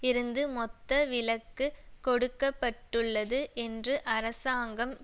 இருந்து மொத்த விலக்கு கொடுக்க பட்டுள்ளது என்று அரசாங்கம்